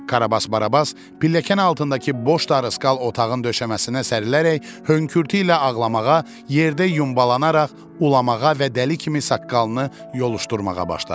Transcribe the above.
Karabas Barabas pilləkən altındakı boş darıskal otağın döşəməsinə sərilərək hönkürtü ilə ağlamağa, yerdə yumbalanaraq ulamağa və dəli kimi saqqalını yoluşdurmağa başladı.